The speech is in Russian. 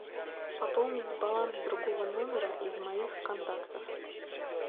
пополнить баланс другого номера из моих контактов